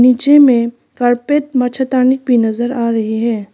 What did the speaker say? नीचे में कारपेट मच्छरदानी भी नजर आ रही है।